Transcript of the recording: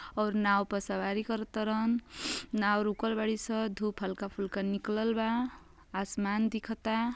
और नाव पर सवारी करतलं। नाव रुकल बाड़ीसन। धूप हल्का फुल्का निकलल बा। आसमान दिखता है।